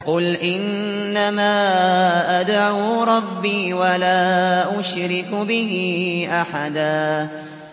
قُلْ إِنَّمَا أَدْعُو رَبِّي وَلَا أُشْرِكُ بِهِ أَحَدًا